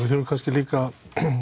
þurfum líka